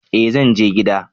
eh zanje gida